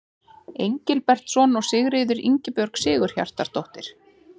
Engilbertsson og Sigríður Ingibjörg Sigurhjartardóttir.